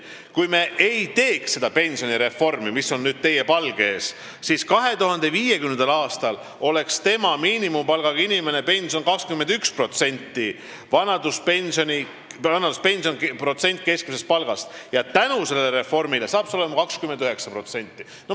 Kui me ei teeks seda pensionireformi, mis on nüüd teie palge ees, siis 2050. aastal oleks miinimumpalka teeninud inimese pension 21% protsenti keskmisest palgast, tänu sellele reformile hakkab see olema 29%.